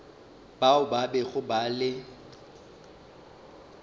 bao ba bego ba le